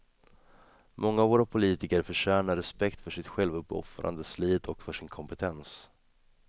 Många av våra politiker förtjänar respekt för sitt självuppoffrande slit och för sin kompetens.